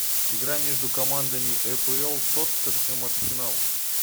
игра между командами апл тоттенхэм арсенал